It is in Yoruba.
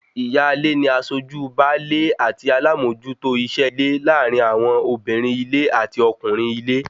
Ìyáálé ni aṣojú baálé àti alámòójútó iṣẹ́ ilé láàrin àwọn obìnrin-ilé àti ọkùnrin-ile